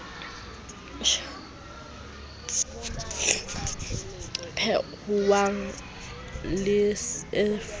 phehuwang le se o ferose